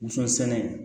Woson sɛnɛ